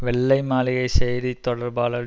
வெள்ளை மாளிகை செய்தி தொடர்பாளர்